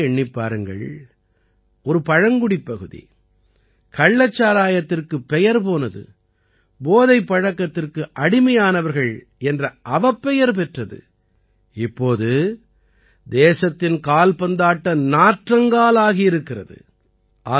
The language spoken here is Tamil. நீங்களே எண்ணிப் பாருங்கள் ஒரு பழங்குடிப்பகுதி கள்ளச்சாராயத்திற்காகப் பெயர் போனது போதைப் பழக்கத்திற்கு அடிமையானவர்கள் என்ற அவப்பெயர் பெற்றது இப்போது தேசத்தின் கால்பந்தாட்ட நாற்றங்கால் ஆகியிருக்கிறது